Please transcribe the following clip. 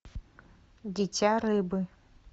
дитя рыбы